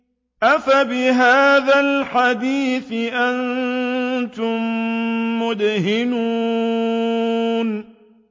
أَفَبِهَٰذَا الْحَدِيثِ أَنتُم مُّدْهِنُونَ